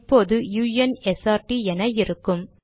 இப்போது u n s r ட் என இருக்கும்